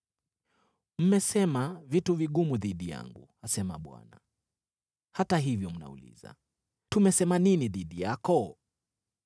“Mmesema vitu vigumu dhidi yangu,” asema Bwana . “Hata hivyo mnauliza, ‘Tumesema nini dhidi yako?’